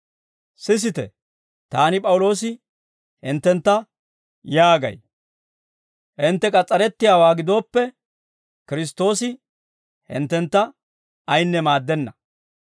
Sisite, taani P'awuloosi, hinttentta yaagay; hintte k'as's'arettiyaawaa gidooppe, Kiristtoosi hinttentta ayinne maaddenna.